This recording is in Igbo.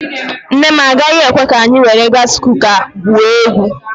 Nne m agaghị ekwe ka anyị were gaasi kuka gwuo egwuregwu.